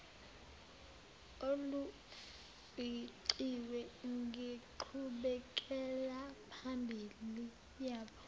olufingqiwe ngenqubekelaphambili yabo